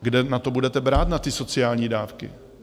Kde na to budete brát, na ty sociální dávky?